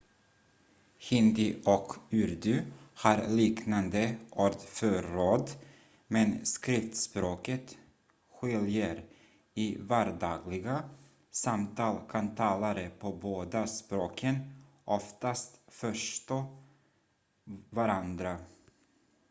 hindi och urdu har liknande ordförråd men skriftspråket skiljer i vardagliga samtal kan talare på båda språken oftast förstå varandra